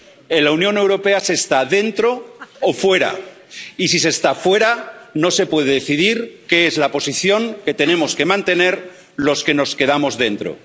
En la Unión Europea se está dentro o fuera, y si se está fuera no se puede decidir qué es la posición que tenemos que mantener los que nos quedamos dentro.